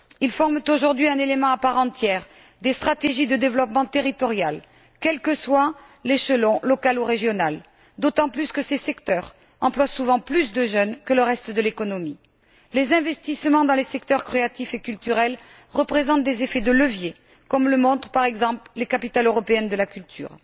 Ils forment aujourd'hui un élément à part entière des stratégies de développement territoriales, quel que soit l'échelon, local, ou régional, d'autant plus que ces secteurs emploient souvent plus de jeunes que le reste de l'économie. Les investissements dans les secteurs créatifs et culturels représentent des effets de levier, comme le montrent, par exemple, les capitales européennes de la culture.